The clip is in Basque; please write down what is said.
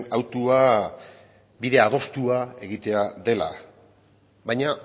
hautua bide adostua egitea dela baina